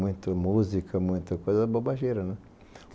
Muita música, muita coisa bobageira.